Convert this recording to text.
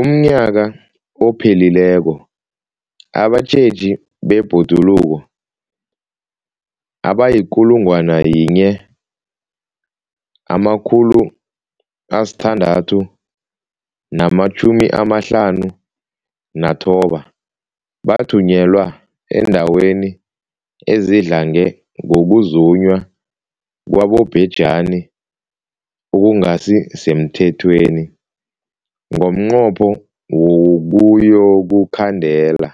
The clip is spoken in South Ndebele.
UmNnyaka ophelileko abatjheji bebhoduluko abayi-1 659 bathunyelwa eendaweni ezidlange ngokuzunywa kwabobhejani okungasi semthethweni ngomnqopho wokuyokukhandela